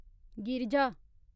Girija